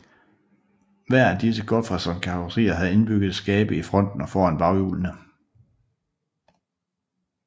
Hver af disse Gotfredson karosserier havde indbyggede skabe i fronten og foran baghjulene